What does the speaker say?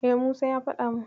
E, Musa ya faɗa min.